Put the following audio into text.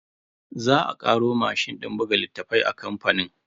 Za a karo mashin din buga littafai a kamfanin.